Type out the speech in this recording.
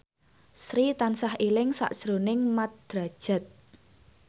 Sri tansah eling sakjroning Mat Drajat